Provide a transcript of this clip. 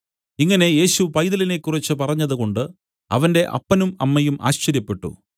ഇങ്ങനെ യേശു പൈതലിനെക്കുറിച്ചു പറഞ്ഞത് കൊണ്ട് അവന്റെ അപ്പനും അമ്മയും ആശ്ചര്യപ്പെട്ടു